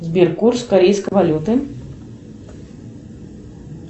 сбер курс корейской валюты